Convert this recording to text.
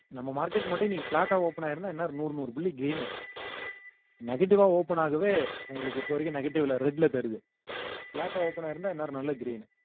நம்ம market மட்டும் இன்னைக்கு flat ஆ open ஆயிருந்தா இன்னொரு நூறு நூறு புள்ளி gain உ negative ஆ open ஆகவே உங்களுக்கு இப்ப வரைக்கும் negative ல red ல தெரியுது flat ஆ open ஆயிருந்தா இந்நேரம் நல்ல green